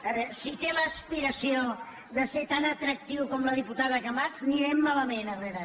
mor de veus) de ser tan atractiu com la diputada camats anirem malament herrera